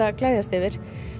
að gleðjast yfir